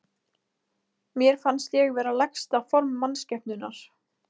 Mér fannst ég vera lægsta form mannskepnunnar.